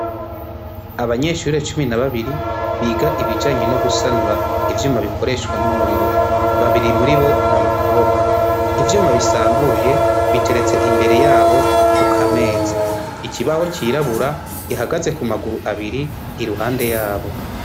Abanyeshure cumi na babiri biga ibijanye no gusanura ivyuma bikoreshwa n'umuriro. Babiri muri bo n'abakobwa. Ivyuma bisambuye biteretse imbere yabo ku kameza. Ikibaho cirabura gihagaze ku maguru abiri iruhande yabo.